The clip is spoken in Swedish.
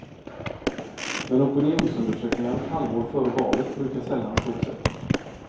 Men opinionsundersökningar ett halvår före valet brukar sällan stå sig.